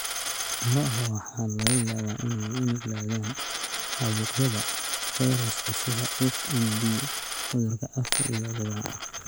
Lo'da waxaa laga yaabaa inay u nuglaadaan caabuqyada fayraska sida FMD (Cudurka Afka iyo Lugaha).